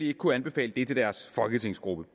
ikke kunne anbefale det til deres folketingsgruppe